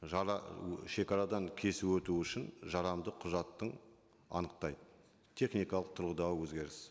шегарадан кесіп өтуі үшін жарамды құжаттың анықтайды техникалық тұрғыдағы өзгеріс